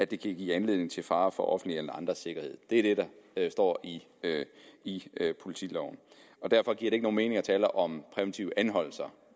kan give anledning til fare for den offentlige eller andres sikkerhed det er det der står i politiloven derfor giver det ikke nogen mening at tale om præventive anholdelser